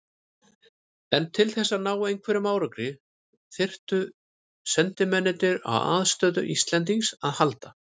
En til þess að ná einhverjum árangri þyrftu sendimennirnir á aðstoð Íslendings að halda.